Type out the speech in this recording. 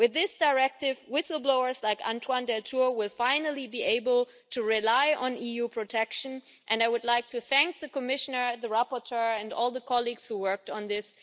With this directive, whistle blowers like Antoine Deltour will finally be able to rely on EU protection, and I would like to thank the Commissioner, the rapporteur and all the colleagues who worked on this.